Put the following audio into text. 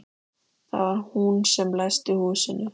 Það var hún sem læsti húsinu.